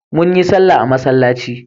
Mun yi sallah a masallaci.